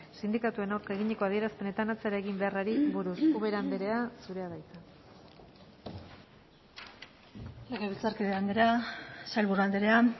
sindikatuen aurka eginiko adierazpenetan atzera egin beharrari buruz ubera anderea zurea da hitza legebiltzarkide andrea sailburu andrea